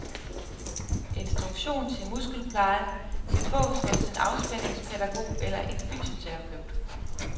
Instruktion til muskelpleje kan fås hos en afspændingspædagog eller en fysioterapeut.